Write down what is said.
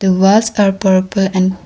The walls are purple and --